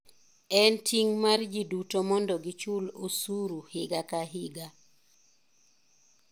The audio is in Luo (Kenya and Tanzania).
En ting' mar jiduto mondo gichul osuru higa ka higa.